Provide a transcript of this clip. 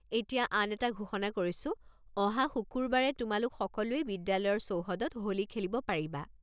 এতিয়া আন এটা ঘোষণা কৰিছো, অহা শুকুৰবাৰে তোমালোক সকলোৱে বিদ্যালয়ৰ চৌহদত হোলী খেলিব পাৰিবা।